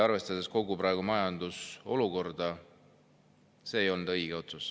Arvestades praegust majanduse olukorda, see otsus ei olnud õige.